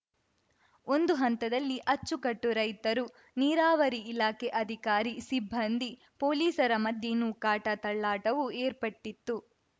ಒಂದು ಹಂತದಲ್ಲಿ ಅಚ್ಚುಕಟ್ಟು ರೈತರು ನೀರಾವರಿ ಇಲಾಖೆ ಅಧಿಕಾರಿ ಸಿಬ್ಬಂದಿ ಪೊಲೀಸರ ಮಧ್ಯೆ ನೂಕಾಟ ತಳ್ಳಾಟವೂ ಏರ್ಪಟ್ಟಿತ್ತು